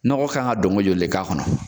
Nɔgɔ kan ka dɔnko joli de k'a kɔnɔ?